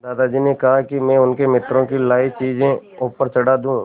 दादाजी ने कहा कि मैं उनके मित्रों की लाई चीज़ें ऊपर चढ़ा दूँ